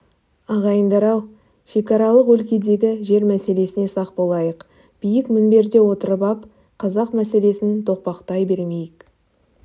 ағайындар-ау шекаралық өлкедегі жер мәселесіне сақ болайық биік мінберде отырып ап қазақ мәселесін тоқпақтай бермейік